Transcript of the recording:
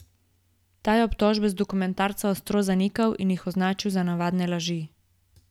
Ta je obtožbe iz dokumentarca ostro zanikal in jih označil za navadne laži.